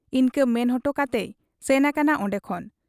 ᱤᱱᱠᱟᱹ ᱢᱮᱱ ᱚᱴᱚᱠᱟᱛᱮᱭ ᱥᱮᱱ ᱟᱠᱟᱱᱟ ᱚᱱᱰᱮ ᱠᱷᱚᱱ ᱾